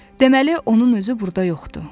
Deməli onun özü burda yoxdur.